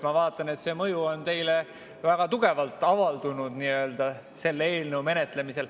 Ma vaatan, et see on teile väga tugevalt selle eelnõu menetlemisel mõju avaldanud.